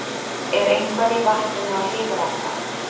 Er eitthvað í vatninu á Hlíðarenda?